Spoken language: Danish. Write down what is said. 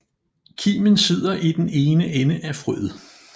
Kimen sidder i den ene ende af frøet